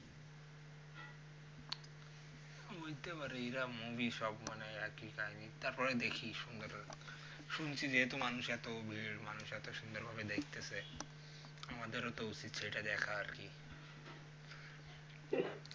বলতে পারে এরা movie সব মানে একই কাহিনি তারপরে দেখি সুন্দর শুনছি যে যেহেতু মানুষ এতো ভিড় মানুষ এতো সুন্দর ভাবে দেখতেসে তো আমাদের তো উচিৎ সেইটা দ্যাখা আর কি